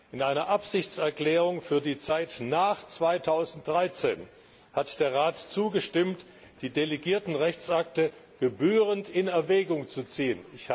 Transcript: In einer Absichtserklärung für die Zeit nach 2013 hat der Rat zugestimmt, die delegierten Rechtsakte gebührend in Erwägung zu ziehen.